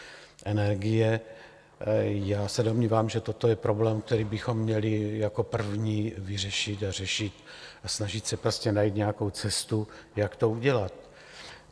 Já se domnívám, že toto je problém, který bychom měli jako první vyřešit a řešit a snažit se prostě najít nějakou cestu, jak to udělat.